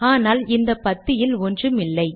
ஆனால் இந்த பத்தியில் ஒன்றும் இல்லை